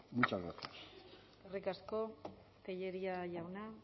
muchas gracias eskerrik asko tellería jauna